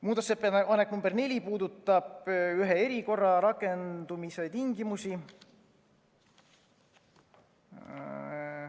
Muudatusettepanek nr 4 puudutab ühe erikorra rakendamise tingimusi.